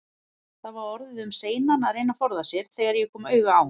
Það var orðið um seinan að reyna að forða sér, þegar ég kom auga á